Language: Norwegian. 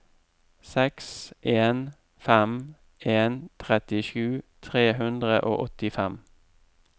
seks en fem en trettisju tre hundre og åttifem